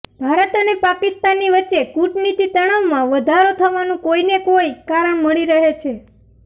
ભારત અને પાકિસ્તાનની વચ્ચે કૂટનીતિ તણાવમાં વધારો થવાનું કોઇને કોઇ કારણ મળી રહે છે